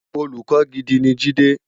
Ólùkò gidi ni Jide